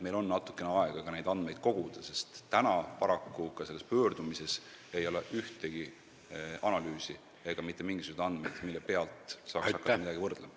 Meil on nüüd natuke aega neid andmeid koguda, sest paraku ka selles pöördumises ei ole ühtegi analüüsi ega mitte mingisuguseid andmeid, mille pealt saaks hakata midagi võrdlema.